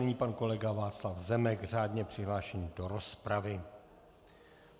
Nyní pan kolega Václav Zemek řádně přihlášený do rozpravy.